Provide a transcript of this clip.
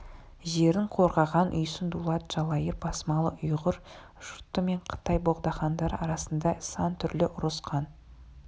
жерін қорғаған үйсін дулат жалайыр басмалы ұйғыр жұрты мен қытай богдахандары арасында сан түрлі ұрыс қан